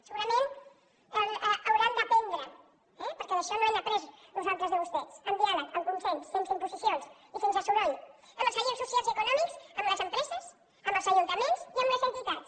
segurament n’hauran d’aprendre eh perquè això no ho hem après nosaltres de vostès amb diàleg amb consens sense imposicions i sense soroll amb els agents socials i econòmics amb les empreses amb els ajuntaments i amb les entitats